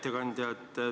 Hea ettekandja!